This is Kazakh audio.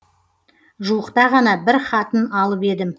жуықта ғана бір хатын алып едім